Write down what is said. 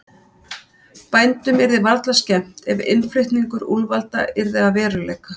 Bændum yrði varla skemmt ef innflutningur úlfa yrði að veruleika.